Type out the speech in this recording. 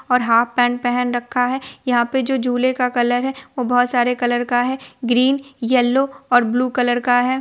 और half pant पहन रखा है| यहाँ पे जो झूले का कलर है वो बहुत सारे कलर का है ग्रीन येल्लो और ब्लू कलर का है।